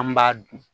An b'a dun